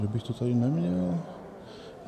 Že bych to tady neměl?